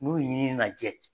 N'u ɲinini n'a jɛ.